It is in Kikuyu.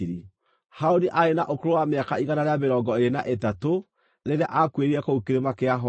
Harũni aarĩ na ũkũrũ wa mĩaka igana rĩa mĩrongo ĩĩrĩ na ĩtatũ rĩrĩa aakuĩrĩire kũu Kĩrĩma kĩa Horu.